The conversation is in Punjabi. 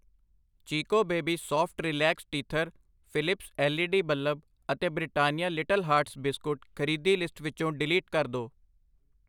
Chicco baby soft relax teether, Philips L E D bulb ਅਤੇ ਬ੍ਰਿਟਾਨੀਆ ਲਿਟਲ ਹਾਰਟਸ ਬਿਸਕੁਟ ਖਰੀਦੀ ਲਿਸਟ ਵਿੱਚੋ ਡਿਲੀਟ ਕਰ ਦੋ I